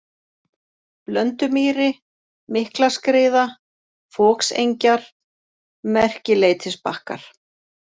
Blöndumýri, Miklaskriða, Foksengjar, Merkileitisbakkar